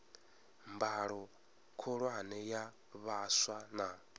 mbalo khulwane ya vhaswa na